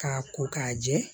K'a ko k'a jɛ